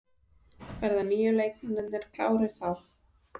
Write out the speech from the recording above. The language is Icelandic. Verða nýju leikmennirnir klárir þá?